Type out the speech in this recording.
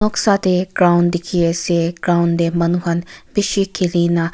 sa tae ground dikhiase ground tae manu khan bishi khili na--